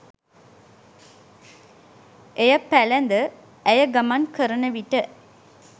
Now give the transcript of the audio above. එය පැළැඳ ඇය ගමන් කරන විට